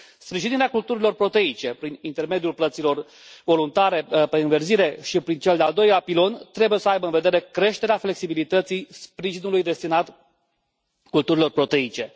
Sprijinirea culturilor proteice prin intermediul plăților voluntare pe înverzire și prin cel de al doilea pilon trebuie să aibă în vedere creșterea flexibilității sprijinului destinat culturilor proteice.